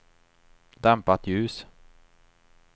dämpat ljus